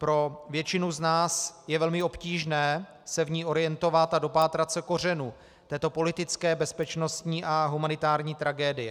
Pro většinu z nás je velmi obtížné se v ní orientovat a dopátrat se kořenů této politické, bezpečnostní a humanitární tragédie.